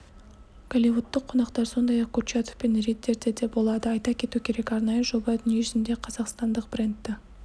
голливудтық қонақтар сондай-ақ курчатов пен риддерде де болады айта кету керек арнайы жоба дүниежүзінде қазақстандық брэндті